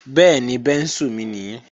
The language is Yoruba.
Bẹ́ẹ̀ni, bẹ́ńsù mi nii